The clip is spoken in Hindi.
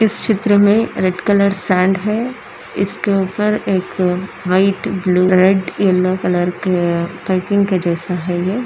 इस चित्र मे रेड कलर सैंड है इसके ऊपर एक white blue red yellow colour का पैकिंग के जैसा है ये--